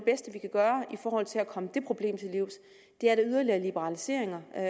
gøre i forhold til at komme det problem til livs er yderligere liberaliseringer af